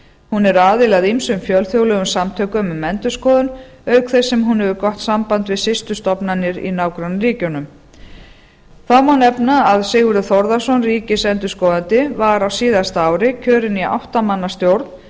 hún er aðili að ýmsum fjölþjóðlegum samtökum um endurskoðun auk þess sem hún getur gott samband við systurstofnanir í nágrannaríkjunum þá má nefna að sigurður þórðarson ríkisendurskoðandi var á síðasta ári kjörinn í átta manna stjórn